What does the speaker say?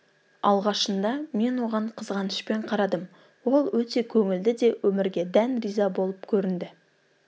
алғашында мен оған қызғанышпен қарадым ол өте көңілді де өмірге дән риза болып көрінді